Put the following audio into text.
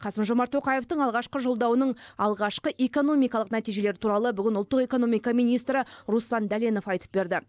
қасым жомарт тоқаевтың алғашқы жолдауының алғашқы экономикалық нәтижелері туралы бүгін ұлттық экономика министрі руслан дәленов айтып берді